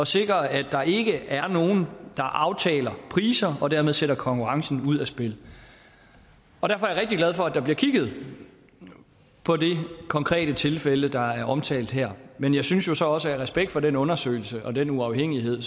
sikre at der ikke er nogen der aftaler priser og dermed sætter konkurrencen ud af spillet og derfor er jeg rigtig glad for at der bliver kigget på det konkrete tilfælde der er omtalt her men jeg synes jo så også af respekt for den undersøgelse og den uafhængighed